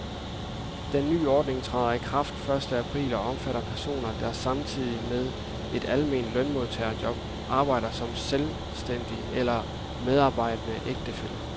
Den nye ordning træder i kraft første april og omfatter personer, der samtidig med et almindeligt lønmodtagerjob, arbejder som selvstændig eller medarbejdende ægtefælle.